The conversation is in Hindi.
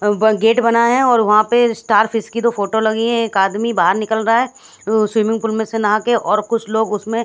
अह ब गेट बना है और वहां पे स्टार फिश की दो फोटो लगी हैं एक आदमी बाहर निकल रहा है वो स्विमिंग पूल में से नहा के और कुछ लोग उसमें--